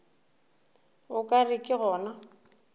o ka re ke gona